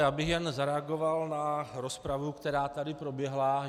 Já bych jen zareagoval na rozpravu, která tady proběhla.